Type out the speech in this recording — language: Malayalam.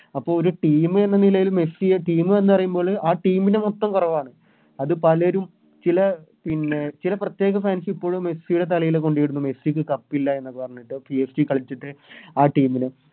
അപ്പൊ ഒരു Team എന്ന നിലയില് മെസ്സിയെ Team എന്ന് പറയുമ്പോള് ആ Team നെ മൊത്തം കൊറവാണ് അത് പലരും ചില പിന്നെ ചില പ്രത്യേക Fans ഇപ്പോഴും മെസ്സിയുടെ തലയില കൊണ്ടയിടുന്നെ മെസ്സിക്ക് കപ്പിലെ എന്നൊക്കെ പറഞ്ഞിട്ട് PSG കളിച്ചിട്ട് ആ Team ന്